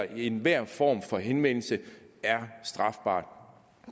at enhver form for henvendelse er strafbar